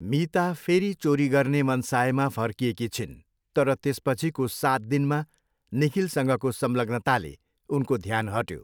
मिता फेरि चोरी गर्ने मनसायमा फर्किएकी छिन्, तर त्यसपछिको सात दिनमा निखिलसँगको संलग्नताले उनको ध्यान हट्यो।